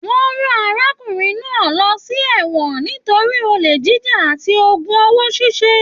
Wọn rán arákùnrin náà lọ sí ẹwọn nítorí ole jíjà àti ogún owó ṣiṣe.